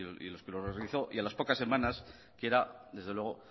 y en los que realizó y a las pocas semanas quiera desde luego